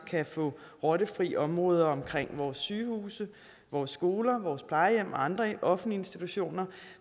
kan få rottefri områder omkring vores sygehuse vores skoler vores plejehjem og andre offentlige institutioner